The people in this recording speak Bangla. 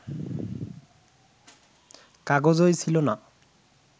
কাগজই ছিল না